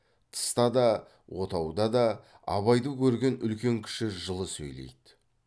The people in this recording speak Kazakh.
тыста да отауда да абайды көрген үлкен кіші жылы сөйлейді